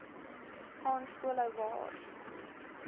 gaan skoolhou waar